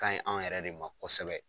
Ka ɲi an yɛrɛ de ma kɔsɛbɛ.